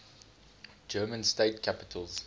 german state capitals